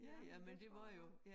Ja men det tror jeg nok